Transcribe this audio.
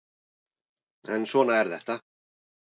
En svona er þetta